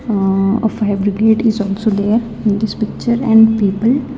Ah a fabricate is also there in this picture and paper.